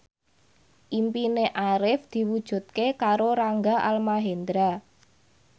impine Arif diwujudke karo Rangga Almahendra